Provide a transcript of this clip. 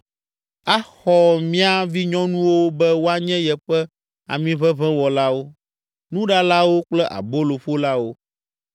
Axɔ mía vinyɔnuwo be woanye yeƒe amiʋeʋẽwɔlawo, nuɖalawo kple aboloƒolawo.